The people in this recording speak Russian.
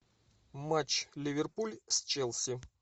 матч ливерпуль с челси